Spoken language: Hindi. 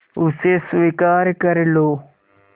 उसे स्वीकार कर लो